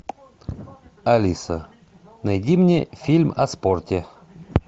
алиса найди мне фильм о спорте